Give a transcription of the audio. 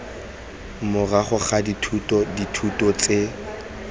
morago ga dithuto dithuto tse